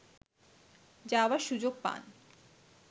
যাওয়ার সুযোগ পান